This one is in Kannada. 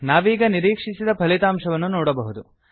ನಾವೀಗ ನಿರೀಕ್ಷಿಸಿದ ಫಲಿತಾಂಶವನ್ನು ನೋಡಬಹುದು